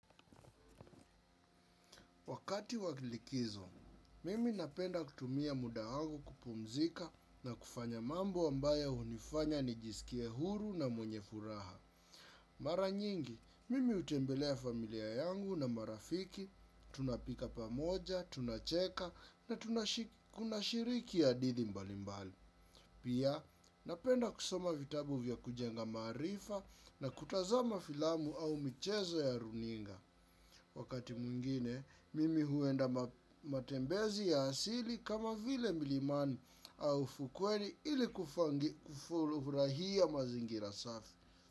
Wakati wa kilikizo, mimi napenda kutumia muda wangu kupumzika na kufanya mambo ambaya hunifanya ni jiskie huru na mwenye furaha. Mara nyingi, mimi hutembelea familia yangu na marafiki, tunapika pamoja, tunacheka na tunashiriki hadithi mbali mbali. Pia, napenda kusoma vitabu vya kujenga maarifa na kutazama filamu au mchezo ya runinga. Wakati mwingine, mimi huenda matembezi ya asili kama vile milimani au fukweni ili kufurahia mazingira safi.